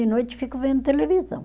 De noite eu fico vendo televisão.